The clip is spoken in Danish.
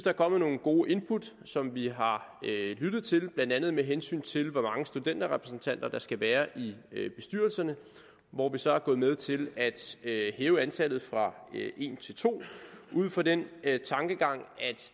er kommet nogle gode input som vi har lyttet til blandt andet med hensyn til hvor mange studenterrepræsentanter der skal være i bestyrelserne hvor vi så er gået med til at hæve antallet fra en til to ud fra den tankegang at